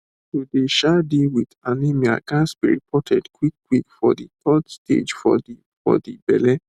to dey um deal wit anemia ghats be reported quick quick for de third stage for de for de belle